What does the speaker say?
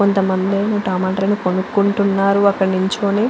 కొంత మంది టమాటాలు కొనుకుంటున్నారు కొంత మంది అక్కడ నిల్చొని--